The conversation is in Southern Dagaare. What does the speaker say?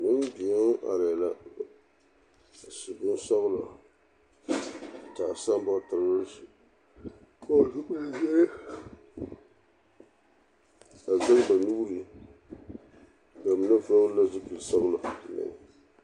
Nembeo arԑԑ la a su bonsͻgelͻ, a taa sambootere, a vͻgele zupili zeere, a zԑge ba nuuri. Ba mine vͻgele la zupili sͻgelͻ meŋ.